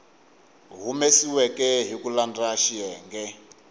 humesiweke hi ku landza xiyenge